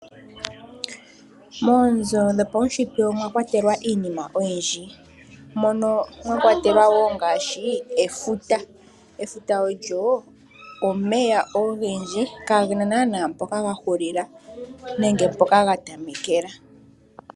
Moonzo dhopawushitwe omwakwatelwa iinima oyindji mono mwa kwatelwa ngaashi efuta. Efuta olyo omeya ogendji kagena nana mpoka ga hulila nenge mpoka ga tamekela.